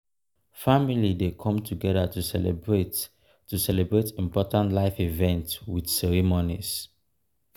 family dey come together to celebrate to celebrate important life events with ceremonies.